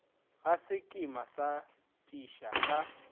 ga sekema sa tisa ka